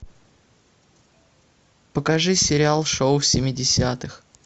покажи сериал шоу семидесятых